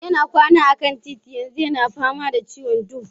Yana kwana akan titi yanzu yana fama da ciwon huhu.